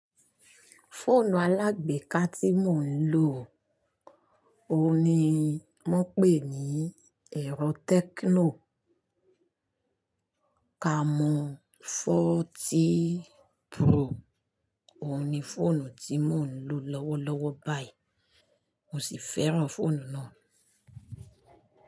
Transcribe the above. Fóònù alágbééká tí mò ń lò, òun ni wọ́n pè ní ẹ̀rọ Tecno Camon forty Pro. Òun ni fóònù tí mò ń lò lọ́wọ́lọ́wọ́ báyìí, mo sì fẹ́ràn fóònù náà.